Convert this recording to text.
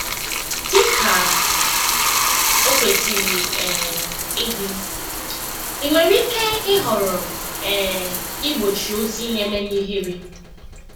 Dị ka o kwesịrị um ịdị, ị nwere ike ịhọrọ um igbochi ozi na-emenye ihere. um